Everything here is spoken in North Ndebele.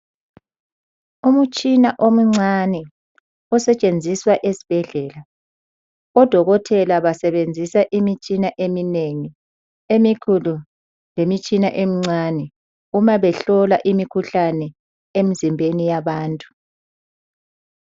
Umutshina omncane osetshenziswa esibhedlela. Odokotela basebenzisa imitshina eminengi, emikhulu lemitshina emincane uma behlola imikhuhlane emzimbeni yabantu.